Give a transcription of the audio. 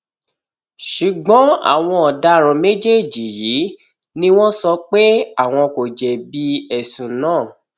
ṣùgbọn àwọn ọdaràn méjèèjì yìí ni wọn sọ pé àwọn kò jẹbi ẹsùn náà